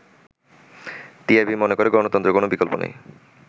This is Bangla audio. “টিআইবি মনে করে গণতন্ত্রের কোন বিকল্প নেই।